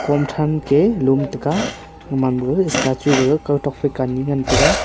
hom thran ke lum taiga human ma statue gaga kawtok faika ani ngan taiga.